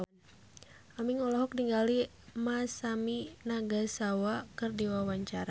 Aming olohok ningali Masami Nagasawa keur diwawancara